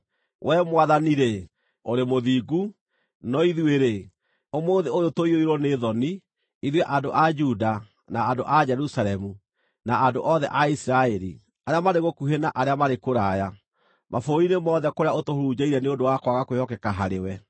“Wee Mwathani-rĩ, ũrĩ mũthingu, no ithuĩ-rĩ, ũmũthĩ ũyũ tũiyũirwo nĩ thoni, ithuĩ andũ a Juda, na andũ a Jerusalemu, na andũ othe a Isiraeli, arĩa marĩ gũkuhĩ na arĩa marĩ kũraya, mabũrũri-inĩ mothe kũrĩa ũtũhurunjĩire nĩ ũndũ wa kwaga kwĩhokeka harĩwe.